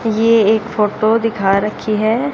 ये एक फोटो दिखा रखी है।